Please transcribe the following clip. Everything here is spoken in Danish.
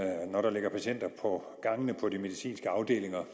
når der ligger patienter på gangene på de medicinske afdelinger